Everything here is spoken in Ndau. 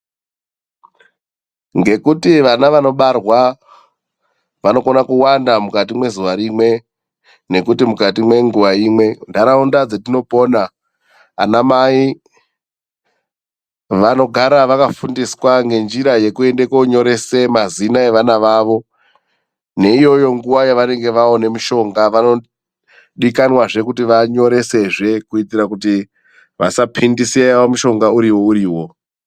Ngekuti vana vanobarwa vanokona kuwanda mukati mwezuwa rimwe, nekuti mukati mwenguwa imwe. Nharaunda dzetinopona, anamai vanogara vakafundiswa ngenjira yekuende koonyorese mazina evana vavo. Neiyoyo nguwa yevanenge vaona mushonga, vanodikanwazve kuti vanyoresezve kuitira kuti vasaphindiseya mushonga uriwo uriwo.